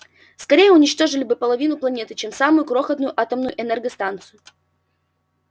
скорее уничтожили бы половину планеты чем самую крохотную атомную энергостанцию